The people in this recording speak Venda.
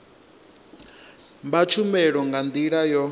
vha tshumelo nga ndila yo